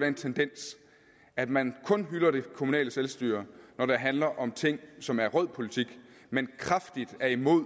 den tendens at man kun hylder det kommunale selvstyre når det handler om ting som er rød politik men kraftigt er imod